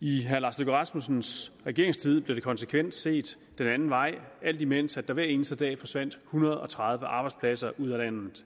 i herre lars løkke rasmussens regeringstid blev der konsekvent set den anden vej alt imens der hver eneste dag forsvandt hundrede og tredive arbejdspladser ud af landet